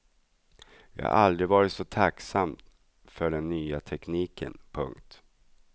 Jag har aldrig varit så tacksam för den nya tekniken. punkt